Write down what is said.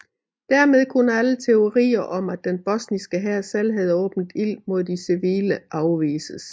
Dermed kunne alle teorier om at den bosniske hær selv havde åbnet ild mod de civile afvises